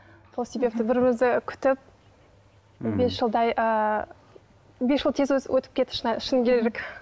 сол себепті бір бірімізді күтіп бес жылдай ыыы бес жыл тез өзі өтіп кетті шыны керек